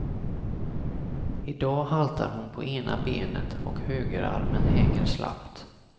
Idag haltar hon på ena benet och högerarmen hänger slappt.